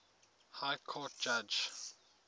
high court judge